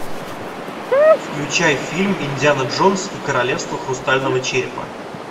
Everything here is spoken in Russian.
включай фильм индиана джонс и королевство хрустального черепа